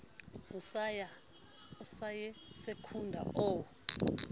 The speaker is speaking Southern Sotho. o sa ye secunda o